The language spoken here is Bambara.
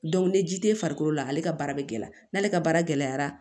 ni ji tɛ farikolo la ale ka baara bɛ gɛlɛya n'ale ka baara gɛlɛyara